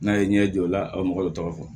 N'a ye ɲɛ jɔ la aw mɔgɔ dɔ tɔgɔ fɔ